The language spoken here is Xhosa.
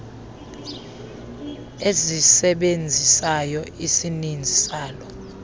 esizisebenzisayo isininzi sala